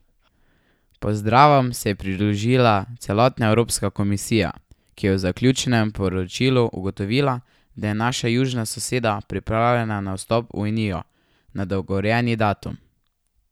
Pozdravom se je pridružila celotna evropska komisija, ki je v zaključnem poročilu ugotovila, da je naša južna soseda pripravljena na vstop v Unijo na dogovorjeni datum.